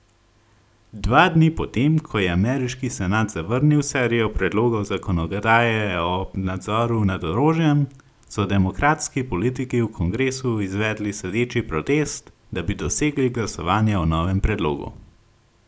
Dva dni potem, ko je ameriški senat zavrnil serijo predlogov zakonodaje o nadzoru nad orožjem, so demokratski politiki v kongresu izvedli sedeči protest, da bi dosegli glasovanje o novem predlogu.